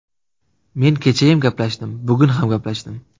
Men kechayam gaplashdim, bugun ham gaplashdim.